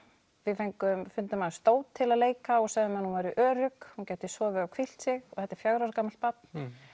við fundum dót til að leika og sögðum henni að hún væri örugg hún gæti sofið og hvílt sig og þetta er fjögurra ára gamalt barn